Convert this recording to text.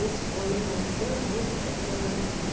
Isso foi indo até o dia que eu encontrei meu marido.